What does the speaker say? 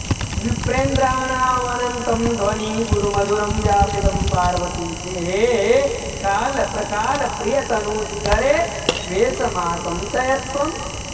विप्रेन्द्राणामनन्तं ध्वनिगुरुमधुरं व्यापितं पार्वतीशे हे हे कालप्रकालप्रियतनुशिखरे वेशमासं चयत्वम्